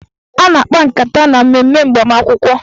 A na-akpa nkata na mmemme agbamakwụkwọ